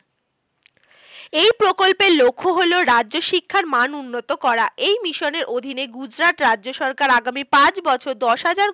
এই প্রকল্পের লক্ষ্য হলো রাজ্যশিক্ষার মান উন্নত করা। এই মিশনের অধীনে গুজরাট রাজ্য সরকার আগামী পাঁচ বছর দশ হাজার